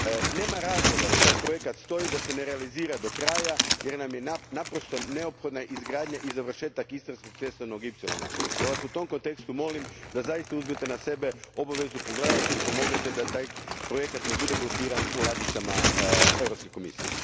Nema razloga da taj projekt stoji, da se ne realizira do kraja, jer nam je naprosto neophodna izgradnja i završetak Istarskog cestovnog ipsilona pa vas u tom kontekstu molim da zaista uzmete na sebe obavezu pogledati i pomognete da taj projekt ne bude blokiran u ladicama Europske komisije.